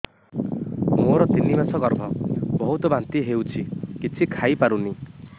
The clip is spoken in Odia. ମୋର ତିନି ମାସ ଗର୍ଭ ବହୁତ ବାନ୍ତି ହେଉଛି କିଛି ଖାଇ ପାରୁନି